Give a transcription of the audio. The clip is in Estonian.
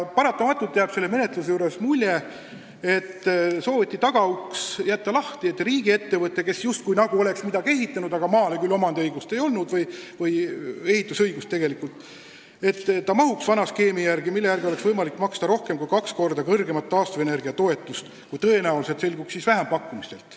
Paratamatult jääb selle menetluse puhul mulje, et sooviti tagauks lahti jätta: et riigiettevõte, kes just nagu oleks midagi ehitanud, aga kel õigust sellele maale ehitada ei olnud, mahuks vana skeemi alla, mille järgi oleks võimalik maksta rohkem kui kaks korda suuremat taastuvenergia toetust, kui tõenäoliselt saaks vähempakkumistel.